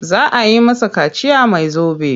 Za a yi masa kaciya mai zobe.